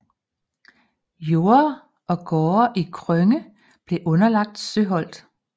Jorder og gårde i Krønge blev underlagt Søholt